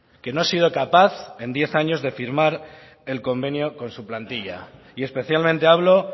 que no ha sido capaz en diez años de firmar el convenio con su plantilla y especialmente hablo